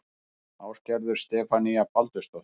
Ásgerður Stefanía Baldursdóttir